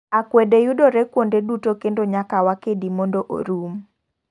Akwede yudore kuonde duto kendo nyaka wa kedi mondo orum.